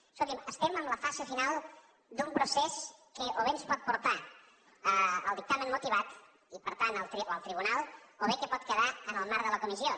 escolti’m estem en la fase final d’un procés que o bé ens pot portar al dictamen motivat i per tant al tribunal o bé que pot quedar en el marc de la comissió